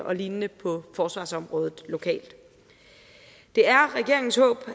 og lignende på forsvarsområdet lokalt det er regeringens håb